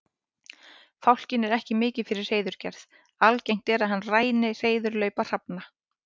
Fálkinn er ekki mikið fyrir hreiðurgerð, algengt er að hann ræni hreiðurlaupa hrafna.